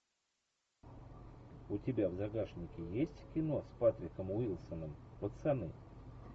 у тебя в загашнике есть кино с патриком уилсоном пацаны